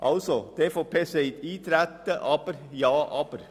Die EVP sagt Eintreten ja, aber.